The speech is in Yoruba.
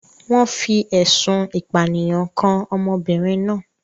Wọ́n fi ẹ̀sùn ìpànìyàn kan ọmọbìnrin náà.